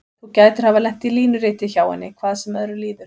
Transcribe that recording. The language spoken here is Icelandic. Þú gætir hafa lent í línuriti hjá henni, hvað sem öðru líður.